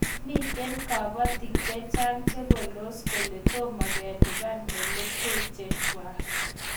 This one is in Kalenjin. Mitei kapatik che chang' chepaldos kole tomo kelipan melekwek chechwak